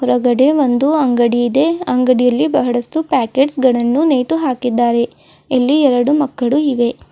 ಹೊರಗಡೆ ಒಂದು ಅಂಗಡಿ ಇದೆ ಅಂಗಡಿಯಲ್ಲಿ ಬಹಳಷ್ಟು ಪ್ಯಾಕೇಟ್ಸ್ಗಳನ್ನು ನೇತು ಹಾಕಿದ್ದಾರೆ ಇಲ್ಲಿ ಎರಡು ಮಕ್ಕಳು ಇವೆ.